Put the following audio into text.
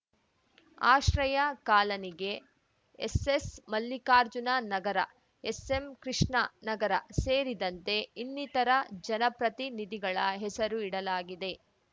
ಆಶ್ರಯ ಕಾಲನಿಗೆ SS Mallikarjuna Nagar SM Krishna Nagar ಸೇರಿದಂತೆ ಇನ್ನಿತರ ಜನ ಪ್ರತಿನಿಧಿಗಳ ಹೆಸರು ಇಡಲಾಗಿದೆ